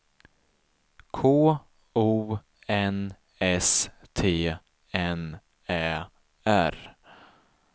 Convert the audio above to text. K O N S T N Ä R